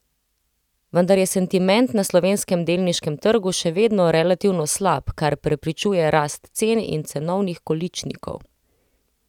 Vendar je sentiment na slovenskem delniškem trgu še vedno relativno slab, kar preprečuje rast cen in cenovnih količnikov.